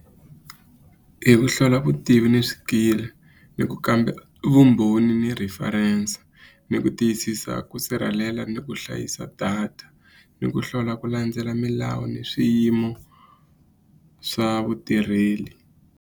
Hi ku hlola vutivi ni swikili ni ku kamba vumbhoni ni reference ni ku tiyisisa ku sirhelela ni ku hlayisa data ni ku hlola ku landzela milawu ni swiyimo swa vutirheli.